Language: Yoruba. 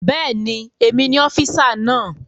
Bẹ́ẹ̀ni, èmi ni ọ́físà náà